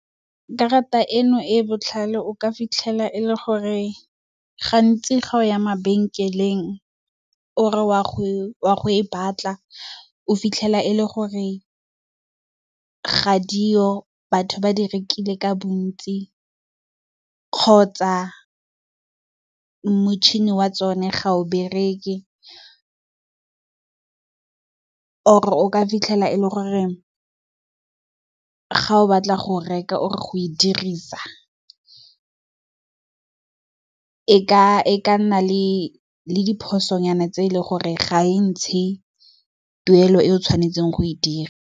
Karata eno e e botlhale o ka fitlhela e le gore gantsi ga o ya mabenkeleng o re wa go e batla o fitlhela e le gore ga diyo batho ba di rekile ka bontsi, kgotsa motšhini wa tsone ga o bereke or o ka fitlhela e le gore ga o batla go reka or go e dirisa e ka nna le diphoso nyana tse e leng gore ga e ntshe tuelo e o tshwanetseng go e dirisa.